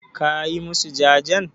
Ka yi masu jajen?